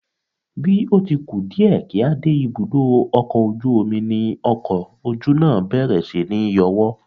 Bí ó ti ku díẹ̀ kí a dé ibùdó ọkọ̀ ojú omi ni ọkọ ojú náà bẹ̀rẹ̀ síní yọwọ́